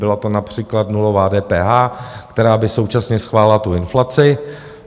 Byla to například nulová DPH, která by současně schválila tu inflaci.